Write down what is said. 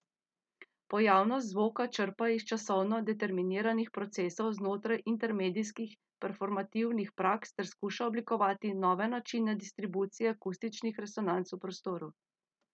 Pojavnost zvoka črpa iz časovno determiniranih procesov znotraj intermedijskih performativnih praks ter skuša oblikovati nove načine distribucije akustičnih resonanc v prostoru.